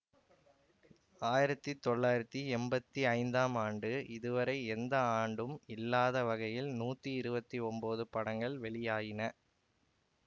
ஆயிரத்தி தொள்ளாயிரத்தி எம்பத்தி ஐந்தாம் ஆண்டு இதுவரை எந்த ஆண்டும் இல்லாத வகையில் நூத்தி இருவத்தி ஒன்போது படங்கள் வெளியாயின